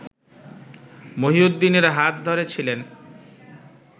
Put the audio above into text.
মহিউদ্দিনের হাত ধরে ছিলেন